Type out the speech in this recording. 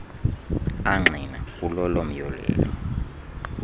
angqina kulolo myolelo